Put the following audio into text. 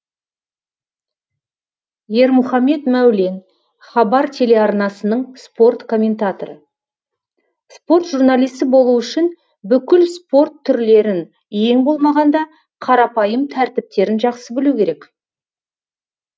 ермұхамед мәулен хабар телеарнасының спорт комментаторы спорт журналисі болу үшін бүкіл спорт түрлерін ең болмағанда қарапайым тәртіптерін жақсы білу керек